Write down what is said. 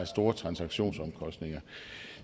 store transaktionsomkostninger